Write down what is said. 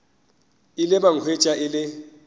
ile ba hwetša e le